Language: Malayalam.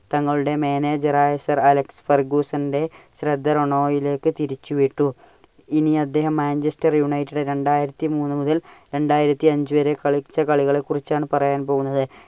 തങ്ങളുടെ manager ആയ സർ അലക്സ് ഫർഗൂസന്റെ ശ്രദ്ധ റോണോയിലേക് തിരിച്ച വിട്ടു. ഇനി അദ്ദേഹം Manchester United ൽ രണ്ടായിരത്തി മൂന്ന് മുതൽ രണ്ടായിരത്തി അഞ്ചു വരെ കളിച്ച കളികളെ കുറിച്ചാണ് പറയാൻ പോകുന്നത്.